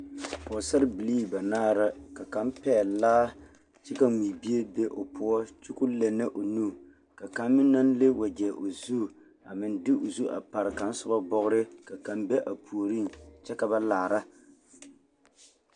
Pɔɡesarbilii banaare la ka kaŋ pɛɡele laa kyɛ ka mui be o poɔ kyɛ ka o lɛnnɛ o nu ka kaŋ naŋ leŋ waɡyɛ o zu a meŋ de o zu a pare kaŋa soba bɔɡere ka kaŋ be a puoriŋ kyɛ ka ba laara.